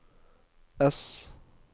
ess